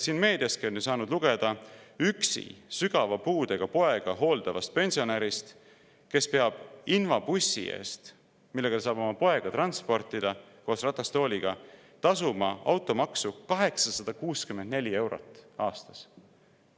Meediastki on saanud lugeda üksi sügava puudega poega hooldavast pensionärist, kes peab invabussi eest, millega ta saab oma poega transportida koos ratastooliga, tasuma automaksu 864 eurot aastas.